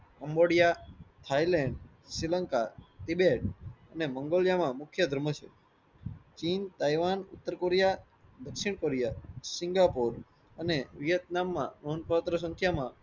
અંગોંદિયા, Thailand, Sri Lanka, Tibet અને મગોડીયા માં મુખ્ય ધર્મ છ. ચીન તાઇવાન ઉત્તર કોરિયા દક્ષીણ કોરિયા સિંગાપુર અને વિએટનામ માં નોંધ પાત્ર સંખ્યા માં